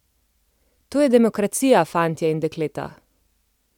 To je demokracija, fantje in dekleta!